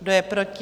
Kdo je proti?